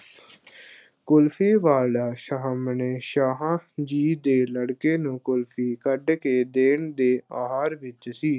ਕੁਲਫ਼ੀ ਵਾਲਾ ਸਾਹਮਣੇ ਸ਼ਾਹ ਜੀ ਦੇ ਲੜਕੇ ਨੂੰ ਕੁਲਫ਼ੀ ਕੱਢ ਕੇ ਦੇਣ ਦੇ ਆਹਰ ਵਿੱਚ ਸੀ।